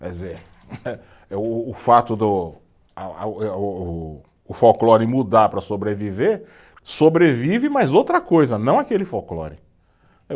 Quer dizer eh, o o fato do, a a eh o o, o folclore mudar para sobreviver, sobrevive, mas outra coisa, não aquele folclore.